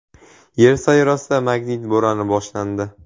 Yer sayyorasida magnit bo‘roni boshlandi.